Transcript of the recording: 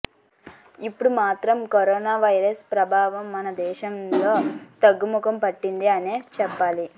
ఇప్పుడు మాత్రం corona virus ప్రభావం మన దేశంలో తగ్గుముఖం పట్టింది అనే చెప్పాలి